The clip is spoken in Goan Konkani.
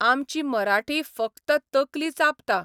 आमची मराठी फकत तकली चाबता.